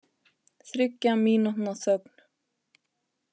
Þriggja mínútna þögn